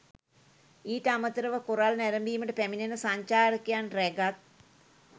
ඊට අමතරව කොරල් නැරඹීමට පැමිණෙන සංචාරකයන් රැගත්